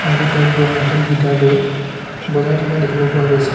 সংগীতজ্ঞই হাতত গীটাৰ লৈ বজাই থকা দেখিব পোৱা গৈছে।